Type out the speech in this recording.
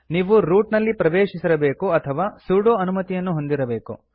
ನೀವು ರೂಟ್ ನಲ್ಲಿ ಪ್ರವೇಶಿಸಿರಬೇಕು ಅಥವಾ ಸುಡೊ ಅನುಮತಿಯನ್ನು ಹೊಂದಿರಬೇಕು